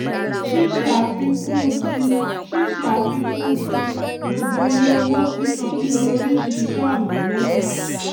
ṣíṣe àfikún tí ṣíṣe àfikún tí gbogbo iye owó sísan nínú oríṣi iṣẹ ọnà mẹta